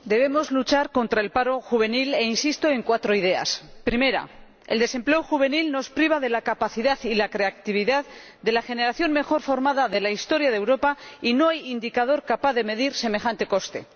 Señor Presidente, debemos luchar contra el paro juvenil e insisto en cuatro ideas. La primera es que el desempleo juvenil nos priva de la capacidad y la creatividad de la generación mejor formada de la historia de Europa y no hay indicador capaz de medir semejante coste.